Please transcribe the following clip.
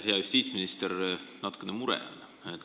Hea justiitsminister, natukene mure on.